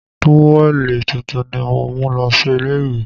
Táwẹ̀lì tuntun ni mo mú lọ sí ilé ìwẹ̀